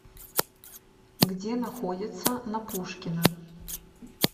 где находится на пушкина